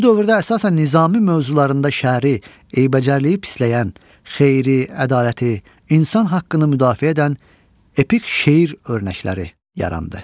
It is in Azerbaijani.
Bu dövrdə əsasən Nizami mövzularında şəri, eybəcərliyi pisləyən, xeyri, ədaləti, insan haqqını müdafiə edən epik şeir örnəkləri yarandı.